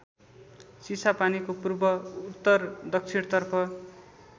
चिसापानीको पूर्व उत्तरदक्षितर्फ